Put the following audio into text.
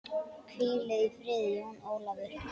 Hvíl í friði, Jón Ólafur.